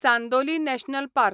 Chandoli national park